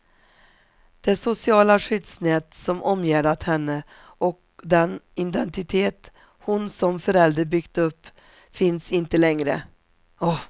Det sociala skyddsnät som omgärdat henne och den identitet hon som förälder byggt upp finns inte längre.